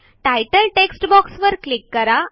तितले टेक्स्टबॉक्सवर क्लिक करा